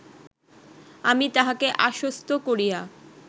আমি তাহাকে আশ্বস্ত করিয়া